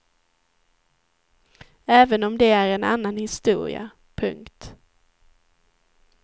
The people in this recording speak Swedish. Även om det är en annan historia. punkt